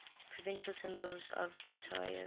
provincial symbols of ontario